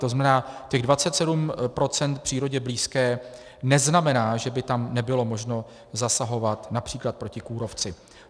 To znamená, těch 27 % přírodě blízké neznamená, že by tam nebylo možno zasahovat například proti kůrovci.